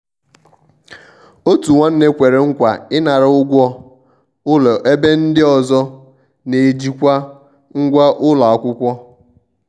òtù nwánne kwere nkwa ịnara ụgwọ ụlọebe ndi ọzọ na-ejikwa ngwá ụlọ akwụkwọ.